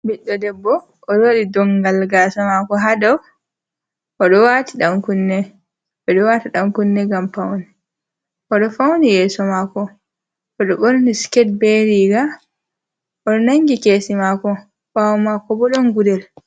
Ɓiɗdo debbo oɗo waɗi dongal gasa mako hadow oɗo waɗi ɗan kunne ɓeɗo waɗa ɗan kunne ngam paune, oɗo fauni yeso maako, oɗo ɓorni sikate bei riga oɗo nangi kesi mako ɓawo mako bo ɗon gudel.